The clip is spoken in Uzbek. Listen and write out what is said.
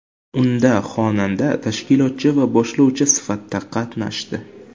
Unda xonanda tashkilotchi va boshlovchi sifatida qatnashdi.